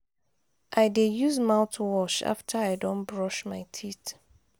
i dey use mouthwash after i don brush my teeth.